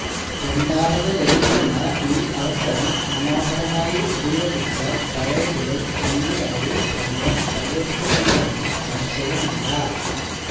രണ്ടാമതു ലഭിക്കുന്ന ഈ അവസരം മനോ ഹരമായി ഉപയോഗിച്ചാൽ പഴയതിലും ഭംഗിയായി പ്രണയം തളിർക്കുമെന്നതിന് സംശയമില്ല